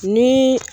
Ni